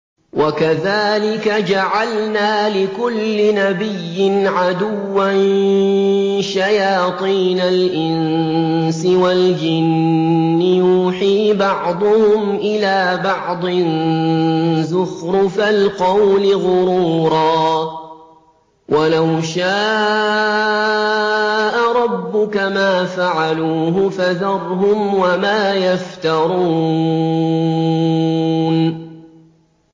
وَكَذَٰلِكَ جَعَلْنَا لِكُلِّ نَبِيٍّ عَدُوًّا شَيَاطِينَ الْإِنسِ وَالْجِنِّ يُوحِي بَعْضُهُمْ إِلَىٰ بَعْضٍ زُخْرُفَ الْقَوْلِ غُرُورًا ۚ وَلَوْ شَاءَ رَبُّكَ مَا فَعَلُوهُ ۖ فَذَرْهُمْ وَمَا يَفْتَرُونَ